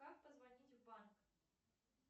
как позвонить в банк